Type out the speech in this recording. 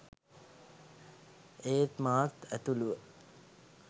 ඒත් මාත් ඇතුළුව